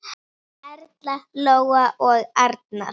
Erla, Lóa og Arnar.